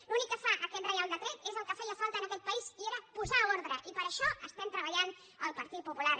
l’únic que fa aquest reial decret és el que feia falta en aquest país i era posar ordre i per això estem treballant el partit popular